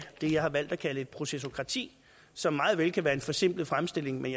det jeg har valgt at kalde et procesokrati som meget vel kan være en forsimplet fremstilling men